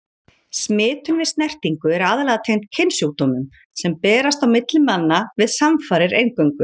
Smitun við snertingu er aðallega tengd kynsjúkdómum, sem berast á milli manna við samfarir eingöngu.